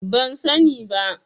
Ban sani ba.